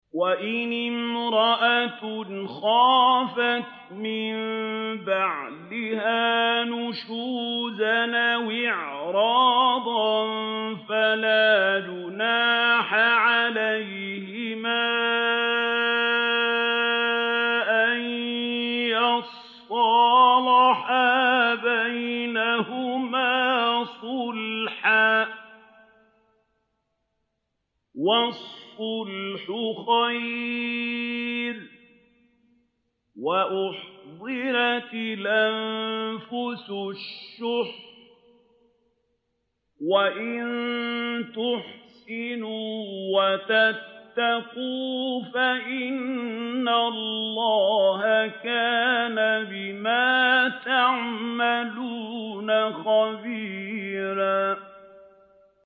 وَإِنِ امْرَأَةٌ خَافَتْ مِن بَعْلِهَا نُشُوزًا أَوْ إِعْرَاضًا فَلَا جُنَاحَ عَلَيْهِمَا أَن يُصْلِحَا بَيْنَهُمَا صُلْحًا ۚ وَالصُّلْحُ خَيْرٌ ۗ وَأُحْضِرَتِ الْأَنفُسُ الشُّحَّ ۚ وَإِن تُحْسِنُوا وَتَتَّقُوا فَإِنَّ اللَّهَ كَانَ بِمَا تَعْمَلُونَ خَبِيرًا